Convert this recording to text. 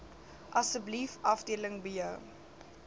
asseblief afdeling b